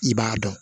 I b'a dɔn